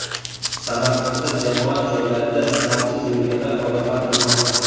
Samarqandda jamoat joylarida niqobsiz yurganlar ogohlantirilmoqda.